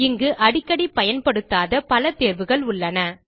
இங்கு அடிக்கடி பயன்படுத்தப்படாத பல தேர்வுகள் உள்ளன